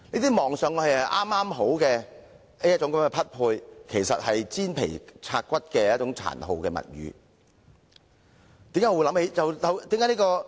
這些看起來是"剛好"的匹配，其實是"煎皮拆骨"的一種殘酷物語。